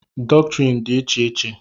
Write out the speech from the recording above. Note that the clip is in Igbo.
dọktrịn dị n'iche n'iche